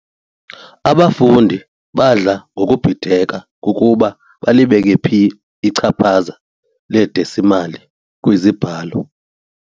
Abafundi badla ngokubhideka kukuba balibeke phi ichaphaza ledesimali kwizibalo.